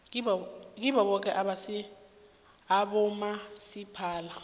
kibo boke abomasipala